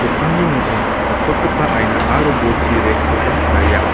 ning·o nikprotgipa aina aro bolchi rack-koba taria.